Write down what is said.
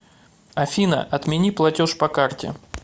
афина отмени платеж по карте